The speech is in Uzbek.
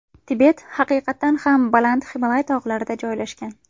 Tibet haqiqatdan ham baland Himolay tog‘larida joylashgan.